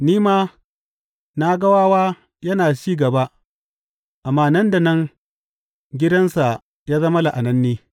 Ni ma na ga wawa yana cin gaba, amma nan da nan gidansa ya zama la’ananne.